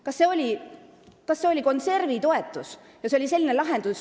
Kas selle nimi oli konservitoetus?